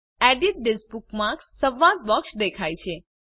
edit this bookmark સંવાદ box દેખાય છે